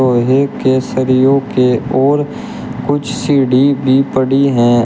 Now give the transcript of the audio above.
लोहे के सरियों के ओर कुछ सीढ़ी भी पड़ी हैं।